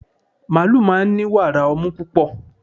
màálù máa ń ni wàrà ọmú púpọ̀